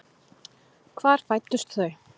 Hvar fæddust þau?